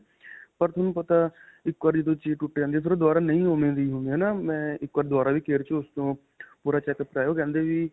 ਪਰ ਤੁਹਾਨੂੰ ਪਤਾ ਇੱਕ ਵਾਰੀ ਜਦੋ ਚੀਜ਼ ਟੁੱਟ ਜਾਂਦੀ ਹੈ ਫਿਰ ਓਹ ਦੁਬਾਰਾ ਨਹੀਂ ਓਵੇਂ ਦੀ ਹੁੰਦੀ ਹੈ ਨਾਂ. ਮੈਂ ਇੱਕ ਵਾਰ ਦੁਵਾਰਾ ਵੀ care 'ਚੋਂ ਉਸ ਤੋਂ ਪੂਰਾ checkup ਕਰਵਾਇਆ ਓਹ ਕਹਿੰਦੇ ਵੀ.